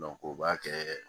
o b'a kɛ